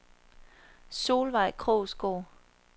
Solveig Krogsgaard